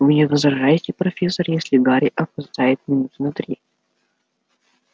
вы не возражаете профессор если гарри опоздает минуты на три